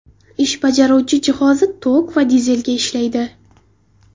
Ish bajaruvchi jihozi tok va dizelga ishlaydi.